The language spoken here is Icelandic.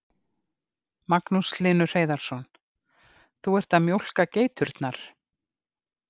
Magnús Hlynur Hreiðarsson: Þú ert að mjólka geiturnar?